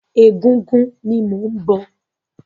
Ẹgúngún ni mò ń bọ̀.